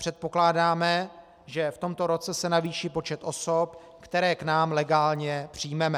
Předpokládáme, že v tomto roce se navýší počet osob, které k nám legálně přijmeme.